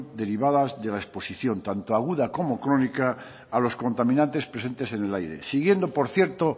derivada de la exposición tanto aguda como crónica a los contaminantes presentes en el aire siguiendo por cierto